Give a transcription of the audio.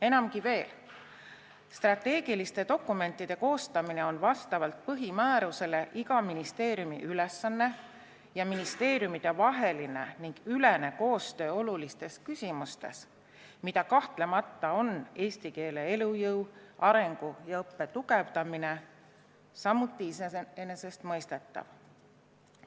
Enamgi veel, strateegiliste dokumentide koostamine on vastavalt ministeeriumide põhimäärustele iga ministeeriumi ülesanne ning ministeeriumidevaheline ja -ülene koostöö olulistes küsimustes, mida eesti keele elujõu, arengu ja õppe tugevdamine kahtlemata on, on samuti iseenesestmõistetav.